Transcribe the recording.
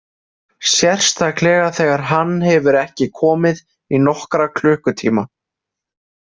Sérstaklega þegar hann hefur ekki komið í nokkra klukkutíma.